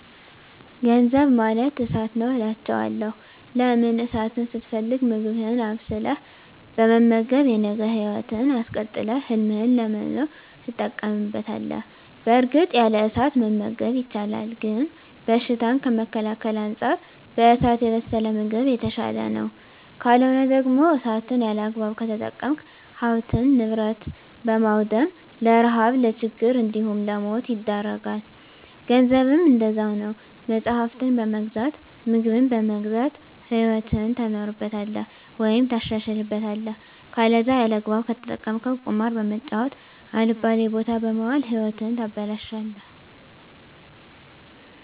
ገንዘብ ማለት እሳት ነዉ አላቸዋለሁ። ለምን እሳትን ስትፈልግ ምግብህን አብስለህ በመመገብ የነገ ህይወትህን አስቀጥለህ ህልምህን ለመኖር ትጠቀምበታለህ በእርግጥ ያለ እሳት መመገብ ይቻላል ግን በሽታን ከመከላከል አንፃር በእሳት የበሰለ ምግብ የተሻለ ነዉ። ካልሆነ ደግሞ እሳትን ያለአግባብ ከተጠቀምክ ሀብትን ንብረት በማዉደም ለረሀብ ለችግር እንዲሁም ለሞት ይዳርጋል። ገንዘብም እንደዛዉ ነዉ መፅሀፍትን በመግዛት ምግብን በመግዛት ህይወትህን ታኖርበታለህ ወይም ታሻሽልበታለህ ከለዛ ያለአግባብ ከተጠቀምከዉ ቁማር በመጫወት አልባሌ ቦታ በመዋል ህይወትህን ታበላሸለህ።